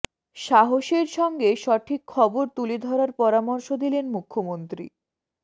সাহসের সঙ্গে সঠিক খবর তুলে ধরার পরামর্শ দিলেন মুখ্যমন্ত্রী